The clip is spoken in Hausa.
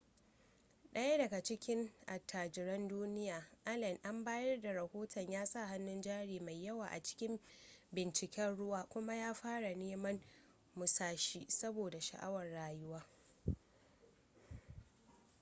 daya daga cikin attajiran duniya allen an bayar da rahoton ya sa hannun jari mai yawa a cikin binciken ruwa kuma ya fara neman musashi saboda sha'awar rayuwa